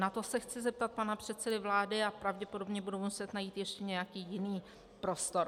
Na to se chci zeptat pana předsedy vlády a pravděpodobně budu muset najít ještě nějaký jiný prostor.